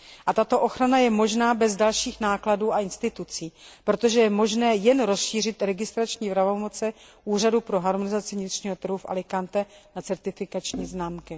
A tato ochrana je možná bez dalších nákladů a institucí, protože je možné jen rozšířit registrační pravomoci Úřadu pro harmonizaci vnitřního trhu v Alicante na certifikační známky.